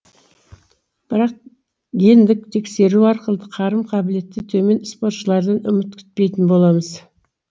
бірақ гендік тестілеу арқылы қарым қабілеті төмен спортшылардан үміт күтпейтін боламыз